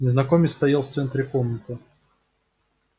незнакомец стоял в центре комнаты